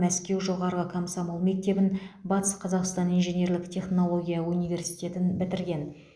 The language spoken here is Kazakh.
мәскеу жоғары комсомол мектебін батыс қазақстан инженерлік технология университетін бітірген